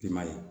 I m'a ye